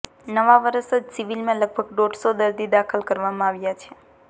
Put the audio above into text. નવા વર્ષે જ સિવિલમાં લગભગ દોઢસો દર્દી દાખલ કરવામાં આવ્યા છે